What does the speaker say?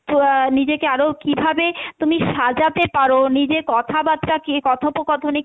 নিজেকে আরও কীভাবে তুমি সাজাতে পারো, নিজে কথাবার্তা কে কথোপকথনে,